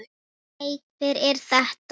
Nei, hver er þetta?